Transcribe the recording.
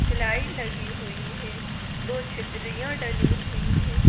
सिलाइड लगी हुई है दो छित्रियां डली हुई हैं।